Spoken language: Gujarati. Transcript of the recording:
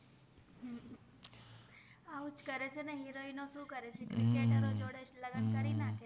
અવ્વુજ કરે ચે અહિય ક્રિકેતર જોદેજ લગન કરિ નખે છે